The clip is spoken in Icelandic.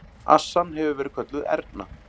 Assan hefur verið kölluð Erna.